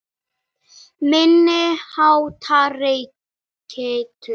Óvenjumikil velta í Kauphöll